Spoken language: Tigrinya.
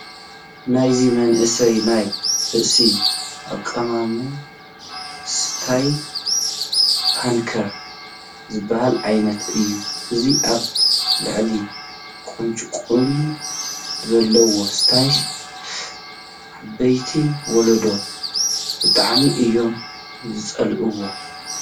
ናይዚ መንእሰይ ናይ ርእሱ ኣቀማቕማ ስታይ ፓንከር ዝበሃል ዓይነት እዩ፡፡ አዚ ኣብ ላዕሊ ቁንጭቑንጮ ዘለዎ ስታይስ ዓበይቲ ወለዲ ብጣዕሚ እዮም ዝፀልእዎ፡፡